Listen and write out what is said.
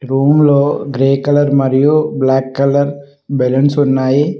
Room లో grey colour మరియు black colour balloons ఉన్నాయి.